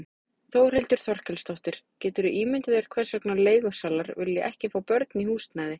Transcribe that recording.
Þórhildur Þorkelsdóttir: Geturðu ímyndað þér hvers vegna leigusalar vilja ekki fá börn í húsnæði?